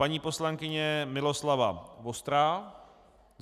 Paní poslankyně Miloslava Vostrá.